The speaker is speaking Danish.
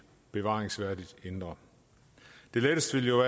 bevaringsværdigt indre det letteste vil jo